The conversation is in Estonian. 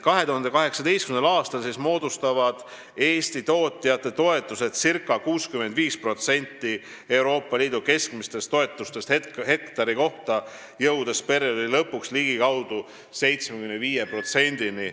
2018. aastal moodustavad Eesti tootjate toetused circa 65% Euroopa Liidu keskmistest toetustest hektari kohta, perioodi lõpuks jõuavad need ligikaudu 75%-ni.